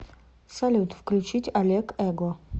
салют включить олег эго